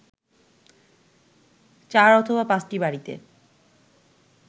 ৪/৫টি বাড়িতে